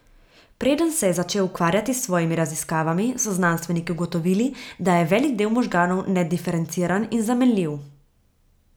Preden se je začel ukvarjati s svojimi raziskavami, so znanstveniki ugotovili, da je velik del možganov nediferenciran in zamenljiv.